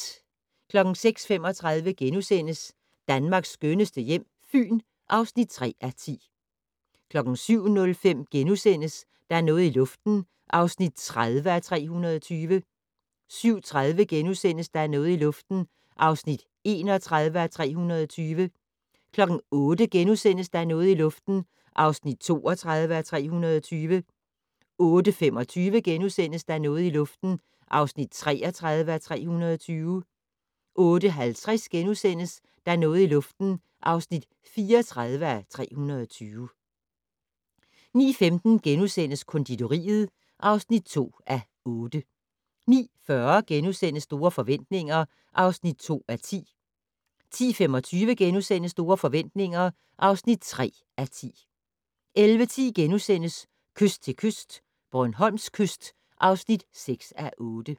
06:35: Danmarks skønneste hjem - Fyn (3:10)* 07:05: Der er noget i luften (30:320)* 07:30: Der er noget i luften (31:320)* 08:00: Der er noget i luften (32:320)* 08:25: Der er noget i luften (33:320)* 08:50: Der er noget i luften (34:320)* 09:15: Konditoriet (2:8)* 09:40: Store forretninger (2:10)* 10:25: Store forretninger (3:10)* 11:10: Kyst til kyst - Bornholms kyst (6:8)*